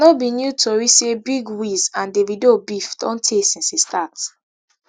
no be new tori say big wiz and davido beef don tey since e start